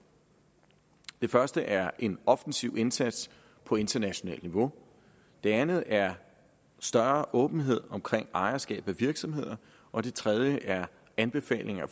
det første er en offensiv indsats på internationalt niveau det andet er større åbenhed omkring ejerskab af virksomheder og det tredje er anbefalinger